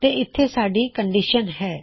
ਤੇ ਇਥੇ ਸਾੱਡੀ ਕੰਨਡਿਸ਼ਨ ਹੈ